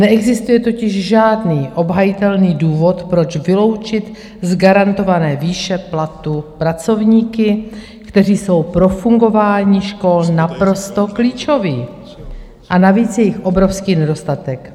Neexistuje totiž žádný obhajitelný důvod, proč vyloučit z garantované výše platu pracovníky, kteří jsou pro fungování škol naprosto klíčoví, a navíc jejich obrovský nedostatek.